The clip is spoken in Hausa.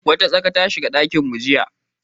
Wata tsaka ta shigo dakinmu jiya.